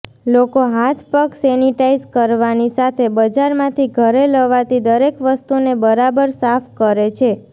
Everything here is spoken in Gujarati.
લોકો હાથપગ સેનિટાઈઝ કરવાની સાથે બજારમાંથી ઘરે લવાતી દરેક વસ્તુને બરાબર સાફ કરે છે